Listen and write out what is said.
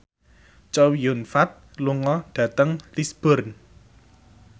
Chow Yun Fat lunga dhateng Lisburn